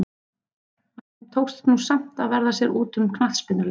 En þeim tókst nú samt að verða sér úti um knattspyrnuleik.